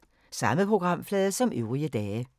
Samme programflade som øvrige dage